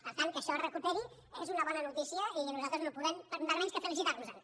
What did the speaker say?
per tant que això es recuperi és una bona notícia i nosaltres no podem per menys que felicitar nos en